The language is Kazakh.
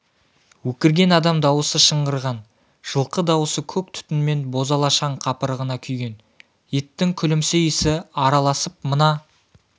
өкірген адам дауысы шыңғырған жылқы дауысы көк түтін мен бозала шаң қапырығына күйген еттің күлімсі иісі араласып мына